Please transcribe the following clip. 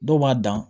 Dɔw b'a dan